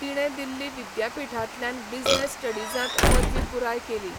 तिणें दिल्ली विद्यापीठांतल्यान बिझनेस स्टडीजांत पदवी पुराय केली.